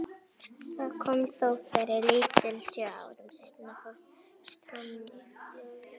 Það kom þó fyrir lítið, sjö árum seinna fórst hann í flugslysi.